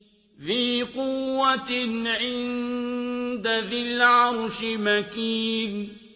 ذِي قُوَّةٍ عِندَ ذِي الْعَرْشِ مَكِينٍ